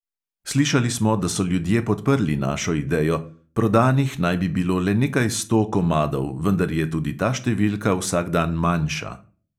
Slišali smo, da so ljudje podprli našo idejo, prodanih naj bi bilo le nekaj sto komadov, vendar je tudi ta številka vsak dan manjša.